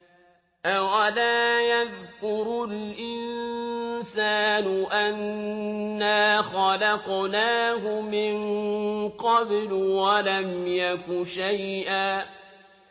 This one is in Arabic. أَوَلَا يَذْكُرُ الْإِنسَانُ أَنَّا خَلَقْنَاهُ مِن قَبْلُ وَلَمْ يَكُ شَيْئًا